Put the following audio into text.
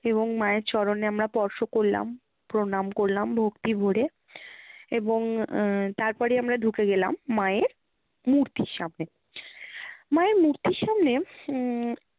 এবং মায়ের চরণে আমরা স্পর্শ করলাম, প্রণাম করলাম ভক্তি ভরে এবং আহ তারপরেই আমরা ঢুকে গেলাম মায়ের মূর্তির সামনে। মায়ের মূর্তির সামনে হম